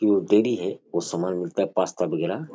ये रेड़ी है और सामान मिलता है पास्ता वगैरा --